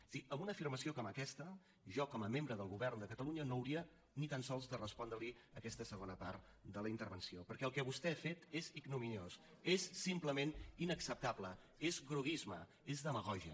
és a dir amb una afirmació com aquesta jo com a membre del govern de catalunya no hauria ni tan sols de respondre li aquesta segona part de la intervenció perquè el que vostè ha fet és ignominiós és simplement inacceptable és groguisme és demagògia